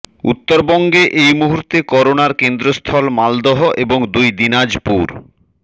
উত্তরবঙ্গে এই মুহূর্তে করোনার কেন্দ্রস্থল মালদহ এবং দুই দিনাজপুর